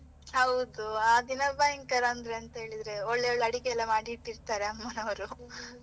ಹೌದು, ಆ ದಿನ ಭಯಂಕರ ಅಂದ್ರೆ ಅಂತ ಹೇಳಿದ್ರೆ, ಒಳ್ಳೆ ಒಳ್ಳೆ ಅಡಿಗೆ ಎಲ್ಲ ಮಾಡಿ ಇಟ್ಟಿರ್ತಾರೆ ಅಮ್ಮನವರು .